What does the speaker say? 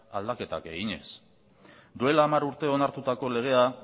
aldaketak eginez duela hamar urte onartutako legea